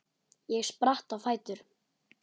Ég spratt á fætur.